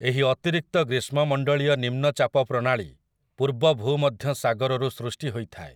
ଏହି ଅତିରିକ୍ତ ଗ୍ରୀଷ୍ମମଣ୍ଡଳୀୟ ନିମ୍ନ ଚାପ ପ୍ରଣାଳୀ ପୂର୍ବ ଭୂମଧ୍ୟସାଗରରୁ ସୃଷ୍ଟି ହୋଇଥାଏ ।